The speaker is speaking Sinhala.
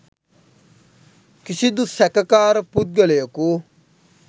කිසිදු සැකකාර පුද්ගලයකු